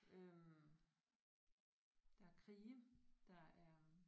Øh der er krige der er